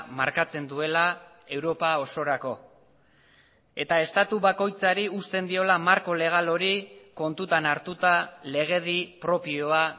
markatzen duela europa osorako eta estatu bakoitzari uzten diola marko legal hori kontutan hartuta legedi propioa